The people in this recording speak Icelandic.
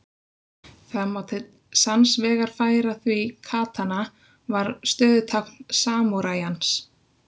Það má til sanns vegar færa því katana var stöðutákn samúræjans.